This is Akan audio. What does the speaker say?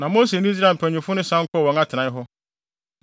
Na Mose ne Israel mpanyimfo no san kɔɔ wɔn atenae hɔ.